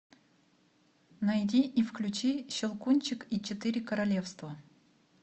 найди и включи щелкунчик и четыре королевства